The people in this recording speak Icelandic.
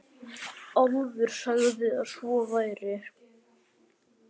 Álfur sagði að svo væri.